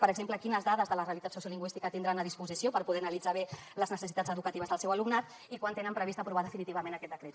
per exemple quines dades de la realitat sociolingüística tindran a disposició per poder analitzar bé les necessitats educatives del seu alumnat i quan tenen previst aprovar definitivament aquest decret